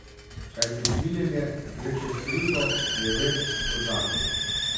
Kajti usmiljenje gre čez krivdo, je več kot zakon.